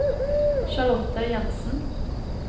Charlotte Jenssen